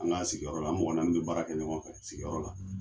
An ka' sigiyɔrɔ an mɔgɔ naani bɛ baara kɛ ɲɔgɔn fɛ sigiyɔrɔ la.